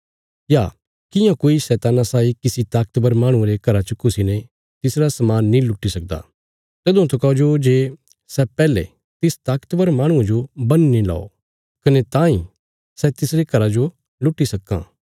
या कियां कोई शैतान्ना साई किसी ताकतवर माहणुये रे घरा च घुसीने तिसरा समान नीं लुट्टी सकदा तदुआं तकौ जो जे सै पैहले तिस ताकतवर माहणुये जो बन्ही नीं लओ कने तांई सै तिसरे घरा जो लुट्टी सक्कां